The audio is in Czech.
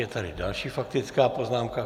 Je tady další faktická poznámka.